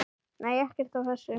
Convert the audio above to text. Nei, ekkert af þessu.